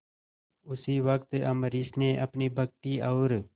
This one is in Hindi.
उसी वक्त अम्बरीश ने अपनी भक्ति और